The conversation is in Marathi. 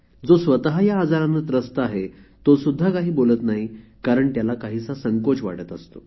जो स्वत या आजाराने त्रस्त आहे तो सुद्धा काही बोलत नाही कारण त्याला काहीसा संकोच वाटत असतो